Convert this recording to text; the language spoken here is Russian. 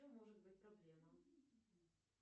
в чем может быть проблема